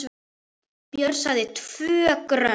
Björn sagði TVÖ GRÖND!